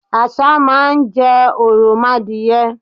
Àṣá má n jẹ òròmoadìye